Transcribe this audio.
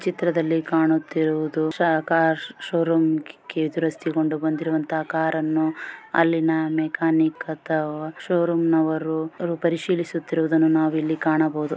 ಚಿತ್ರದಲ್ಲಿ ಕಾಣುತ್ತಿರುವುದು ಶಾಕಾಶ ಶೋರೂಮ್ಕಿ ದುರಸ್ತಿಗೊಂಡಿ ಬಂದಿರುವ ಕಾರ್ ಅನ್ನು ಅಲ್ಲಿನ ಮೆಕಾನಿಕ್ ಅಥವಾ ಶೋರೂಮ್ ನವರು ಪರಿಶೀಲಿಸುತ್ತಿರುವುದನ್ನು ನಾವಿಲ್ಲಿ ಕಾಣಬಹುದು.